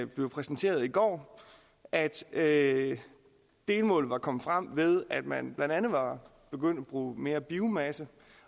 blev præsenteret i går at at delmålet var kommet frem ved at man blandt andet var begyndt at bruge mere biomasse